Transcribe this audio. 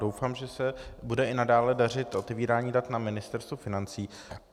Doufám, že se bude i nadále dařit otevírání dat na Ministerstvu financí.